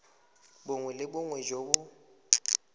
bongwe le bongwe jo bo